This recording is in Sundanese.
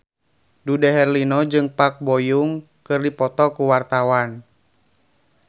Dude Herlino jeung Park Bo Yung keur dipoto ku wartawan